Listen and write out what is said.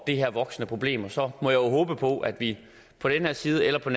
det her voksende problem og så må jeg jo håbe på at vi på den her side eller på